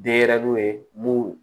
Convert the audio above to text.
Denɲɛrɛninw ye mun